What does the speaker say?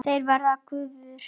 Þeir verða gufur.